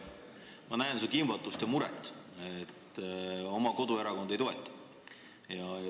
Ma näen su kimbatust ja muret, et oma koduerakond sind ei toeta.